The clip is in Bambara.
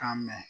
K'a mɛn